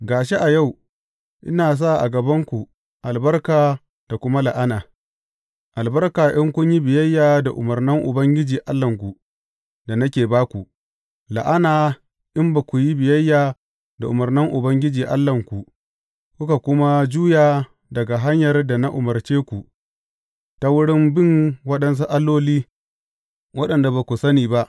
Ga shi, a yau, ina sa a gabanku albarka da kuma la’ana, albarka in kun yi biyayya da umarnan Ubangiji Allahnku, da nake ba ku; la’ana in ba ku yi biyayya da umarnan Ubangiji Allahnku, kuka kuma juya daga hanyar da na umarce ku, ta wurin bin waɗansu alloli, waɗanda ba ku sani ba.